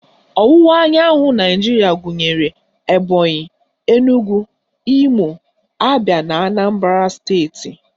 Ọwụwa anyanwụ Naijiria gụnyere Ebonyị, Enugwu, Imo, Abịa na Anambara steeti